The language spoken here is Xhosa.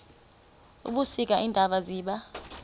ebusika iintaba ziba